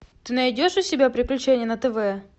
ты найдешь у себя приключения на тв